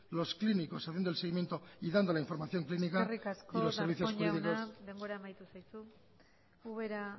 los clínicos haciendo el seguimiento y dando la información clínica y los servicios públicos eskerrik asko darpón jauna denbora amaitu zaizu ubera